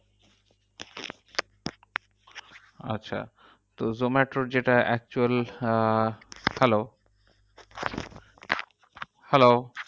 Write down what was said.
আচ্ছা তো zomato র যেটা actual আহ hello hello